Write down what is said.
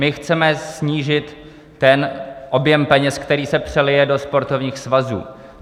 My chceme snížit ten objem peněz, který se přelije do sportovních svazů.